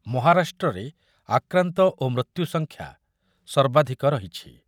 ମହାରାଷ୍ଟ୍ରରେ ଆକ୍ରାନ୍ତ ଓ ମୃତ୍ୟୁ ସଂଖ୍ୟା ସର୍ବାଧିକ ରହିଛି ।